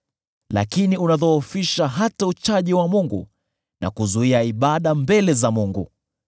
Lakini unadhoofisha hata uchaji wa Mungu na kuzuia ibada mbele za Mungu.